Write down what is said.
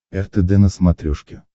ртд на смотрешке